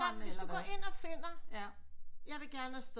Men hvis du går ind og finder jeg vil gerne afsted